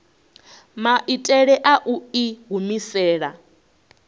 maitele a u i humisela